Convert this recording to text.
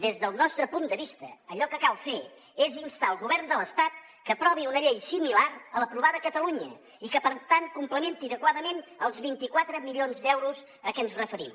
des del nostre punt de vista allò que cal fer és instar el govern de l’estat que aprovi una llei similar a l’aprovada a catalunya i que per tant complementi adequadament els vint quatre milions d’euros a què ens referim